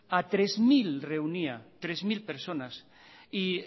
a tres mil reunía tres mil personas